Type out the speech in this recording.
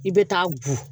I bɛ taa bu